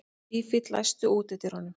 Fífill, læstu útidyrunum.